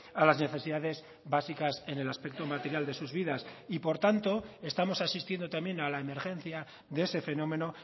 a las necesidades básicas en el aspecto material de sus vidas y por tanto estamos asistiendo también a la emergencia de ese fenómeno